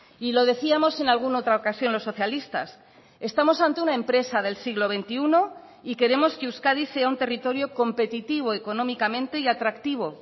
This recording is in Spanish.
y lo decíamos en alguna otra ocasión los socialistas estamos ante una empresa del siglo veintiuno y queremos que euskadi sea un territorio competitivo económicamente y atractivo